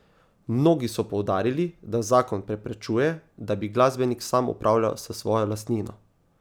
Mnogi so poudarili, da zakon preprečuje, da bi glasbenik sam upravljal s svojo lastnino.